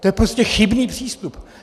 To je prostě chybný přístup.